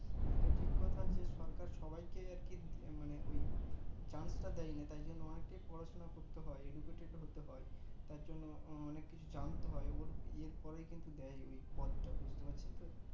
এটা ঠিক কথা যে সরকার সবাই কে আর কি মনে ওই chance তা দেয়নি তাই জন্য অনেকে পড়াশোনা করতে হয় educated হতে হয় তার জন্য ও অনেক কিছু জানতে হয় ওর এর পরে কিন্তু দে পদটা বুজতে পারছেন তো